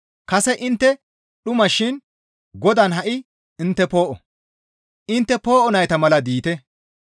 Kase intte dhuma shin Godaan ha7i intte poo7o; intte poo7o nayta mala diite.